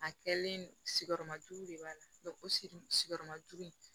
A kɛlen sigiyɔrɔmajugu de b'a la sigiyɔrɔmajugu